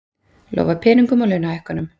Lofa peningum og launahækkun